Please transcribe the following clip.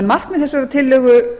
markmið þessarar tillögu